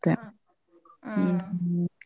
ಹ್ಮ್ ಹ್ಮ್